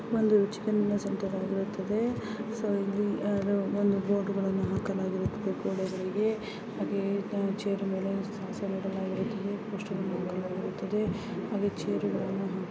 ಒಂದು ರುಚಿಯಾದ ಅಂಗಡಿ ಆಗಿರುತ್ತದೆ ಸೋ ಇಲ್ಲಿ ಬೋರ್ಡ್ಗಳನ್ನು ಹಾಕಲಾಗಿದೆ ಗೋಡೆಗಳಿಗೆ ಹಾಗೆ ಚೇರ್ಗಳ ಹಾಕಲಾಗಿದೆ.